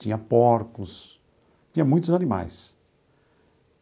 Tinha porcos, tinha muitos animais.